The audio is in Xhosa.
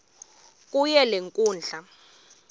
kuyo le nkundla